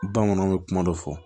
Bamananw bɛ kuma dɔ fɔ